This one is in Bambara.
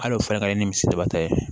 Hali o fɛnɛ ka kɛ ni misibata ye